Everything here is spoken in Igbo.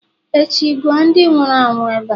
echi, guo ndi nwuru anwu ebe a!